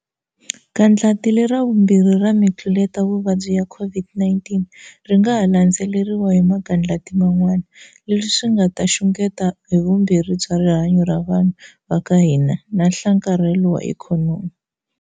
Gandlati lera vumbirhi ra mitluletavuvabyi ya COVID-19 ri nga ha landzeriwa hi magandlati man'wana, leswi swi nga ta xungeta havumbirhi bya rihanyu ra vanhu va ka hina na nhlakarhelo wa ikhonomi.